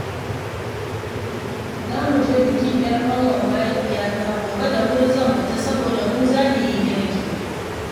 Za mu je bikin 'yar ƙanwar mahaifiyata gobe, da wuri zan fita saboda mu za mu yi girki